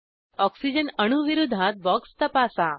oxygen अणू विरोधात box तपासा